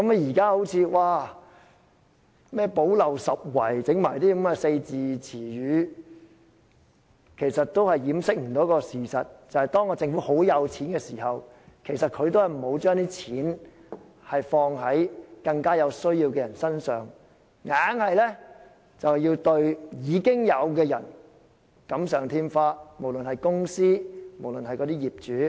現在說"補漏拾遺"，其實也無法掩飾事實，就是政府擁有龐大盈餘，但沒有把錢用於更有需要的人身上，但對已經獲得利益的無論是公司或業主"錦上添花"。